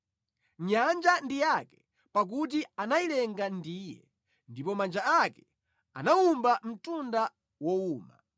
Nyanja ndi yake, pakuti anayilenga ndi Iye, ndipo manja ake anawumba mtunda wowuma.